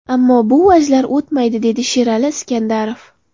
Ammo bu vajlar o‘tmaydi”, dedi Sherali Iskandarov.